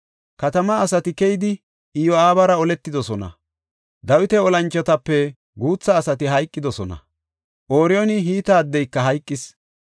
Katamaa asati keyidi Iyo7aabara oletidosona. Dawita olanchotape guutha asati hayqidosona; Ooriyooni Hite addeyka hayqis.